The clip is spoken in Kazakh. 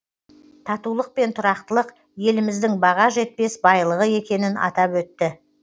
татулық пен тұрақтылық еліміздің баға жетпес байлығы екенін атап өтті